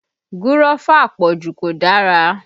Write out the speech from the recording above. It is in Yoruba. Gúrọ́fà àpọ̀jù kò dára